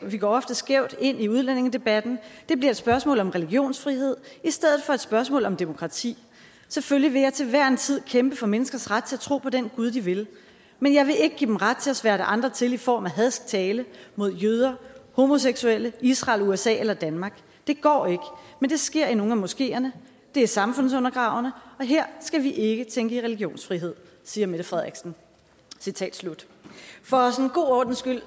vi går ofte skævt ind i udlændingedebatten det bliver et spørgsmål om religionsfrihed i stedet for et spørgsmål om demokrati selvfølgelig vil jeg til hver en tid kæmpe for menneskers ret til at tro på den gud de vil men jeg vil ikke give dem ret til at sværte andre til i form af hadsk tale mod jøder homoseksuelle israel usa eller danmark det går ikke men det sker i nogle af moskeerne det er samfundsundergravende og her skal vi ikke tænke i religionsfrihed siger mette frederiksen for god ordens skyld